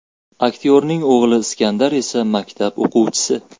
Aktyorning o‘g‘li Iskandar esa maktab o‘quvchisi.